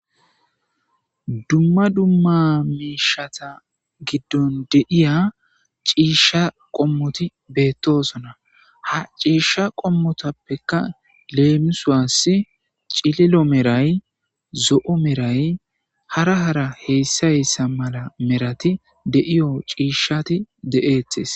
dumma dumma miishata giddon de7iya ciishsha qommoti beettosona ha ciishsha qommotappekka leemisuwassi cililo meray, zo7o meray hara hara heyssa heyssa mala merati de7iyo ciishshati de7eetes.